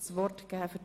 Das ist der Fall.